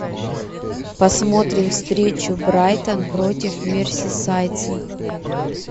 посмотрим встречу брайтон против мерсисайдцы